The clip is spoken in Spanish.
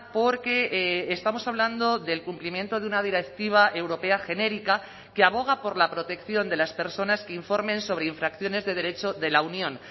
porque estamos hablando del cumplimiento de una directiva europea genérica que aboga por la protección de las personas que informen sobre infracciones de derecho de la unión